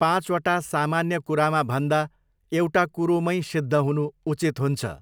पाँचवटा सामान्य कुरामा भन्दा एउटा कुरोमैँ सिद्ध हुनु उचित हुन्छ।